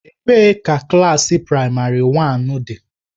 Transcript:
Ebee ka klaasị praịmarị dị?